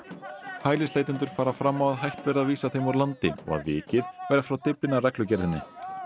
hælisleitendur fara fram á að hætt verði að vísa þeim úr landi og að vikið verði frá Dyflinnarreglugerðinni